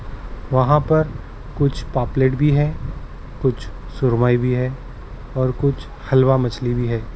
वहां पर कुछ पापलेट भी है कुछ सुरमई भी है और कुछ हलवा मछली भी है।